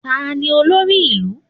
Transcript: Tani olórí ìlú?